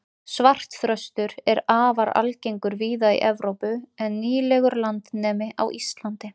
svartþröstur er afar algengur víða í evrópu en nýlegur landnemi á íslandi